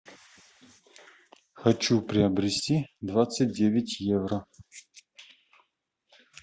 хочу приобрести двадцать девять евро